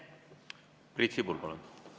Priit Sibul, palun!